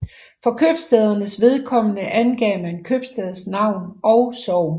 For købstædernes vedkommende angav man købstadsnavn og sogn